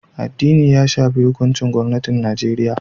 Addini ya shafi hukuncin gwamnatin Najeriya